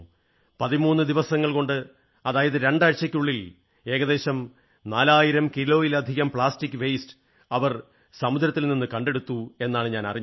13 ദിവസങ്ങൾ കൊണ്ട് അതായത് രണ്ടാഴ്ചയ്ക്കുള്ളിൽ ഏകദേശം 4000 കിലോയിലധികം പ്ലാസ്റ്റിക് മാലിന്യം അവർ സമുദ്രത്തിൽ നിന്ന് കണ്ടെടുത്തു എന്നാണ് ഞാൻ അറിഞ്ഞത്